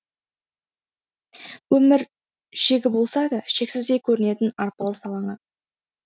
өмір шегі болса да шексіздей көрінетін арпалыс алаңы